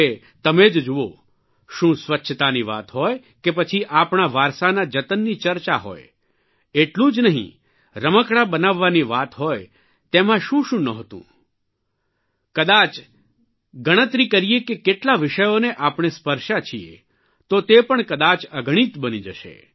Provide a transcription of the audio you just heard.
હવે તમે જ જુઓ શું સ્વચ્છતાની વાત હોય કે પછી આપણા વારસાના જતનની ચર્ચા હોય એટલું જ નહીં રમકડાં બનાવવાની વાત હોય તેમાં શું શું નહોતું કદાચ ગણતરી કરીએ કે કેટલા વિષયોને આપણે સ્પર્શ્યા છીએ તો તે પણ કદાય અગણિત બની જશે